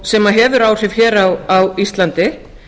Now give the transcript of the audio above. sem hefur áhrif hér á íslandi